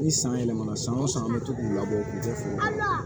Ni san yɛlɛmana san o san an bɛ to k'u labɔ u kun tɛ fɔ